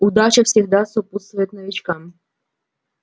удача всегда сопутствует новичкам